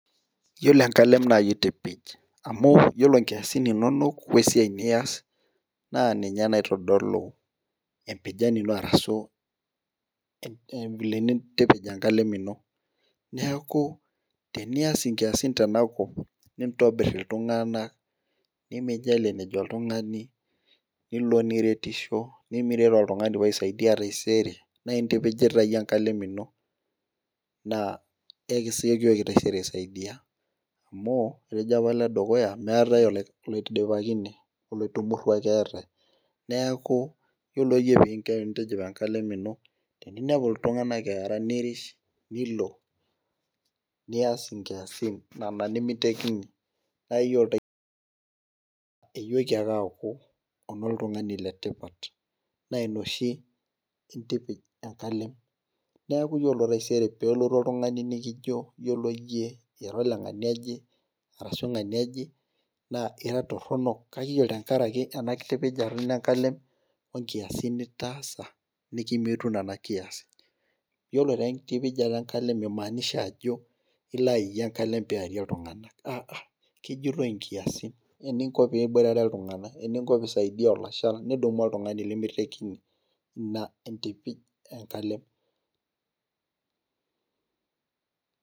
Iyiolo enkalem naa iyie oitipij, amu ore nkiasin inonok, we siai nias naa ninye naitodolu empijan ino ashu vile nintipij enkalem ino. neeku tenias inkiasin tenakop nintobir iltunganak nimijalie enejo oltungani. nilo niretisho. nimiret oltungani pee aaisaidia taaisere naa intipijita iyie enkalem ino. naa ekiyoki taisere aaisaidia, amu etejo apa ole dukuya meetae oloidipakine, oloitumurua ake eetae. neeku iyiolo iyie eninko pee intipij enkalem ino. teninepu iltunganak eera nirish, Niko. nias nkiasin Nena nemeitekini. naa iyiolo taisere iyoki ake aaku, oltungani le tipat naa Ina oshi naitipij enkalem. neeku iyiolo taisere peelotu oltungani nikijo iyiolo iyie ira oleng'ania one ashu ng'ania oje naa kra toronok, naa iyiolo tenkaraki ena kitipijata ino enkalem onkiasin nitaasa nikimitu Nena kiasin. iyiolo ira enkitipijata enkalem mimaanisha ajo ilo sai enkalem pee iyarie iltunganak aa.kejitoi nkiasin eninko pee iboitare iltunganak eninko pee isaidia olshal nidumu oltungani lemeitekini. ina aitipij enkalem.